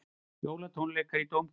Jólatónleikar í Dómkirkju